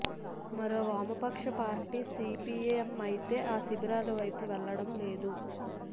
మరో వామపక్ష పార్టీ సీపీఎం అయితే ఆ శిబిరాల వైపు వెళ్లడం లేదు